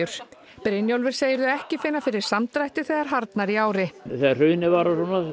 Brynjólfur segir þau ekki finna fyrir samdrætti þegar harðnar í ári þegar hrunið var og